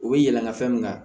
U bɛ yɛlɛma fɛn min kan